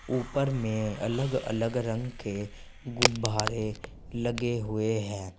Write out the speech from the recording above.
ऊपर में अलग अलग रंग के गुभ्भारे लगे हुए हैं।